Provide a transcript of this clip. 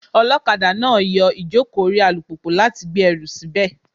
Olokada náà yọ ìjókòó orí alùpùpù láti gbé ẹrù síbẹ̀.